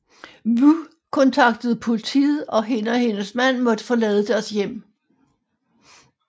Wu kontaktede politiet og hende og hendes mand måtte forlade deres hjem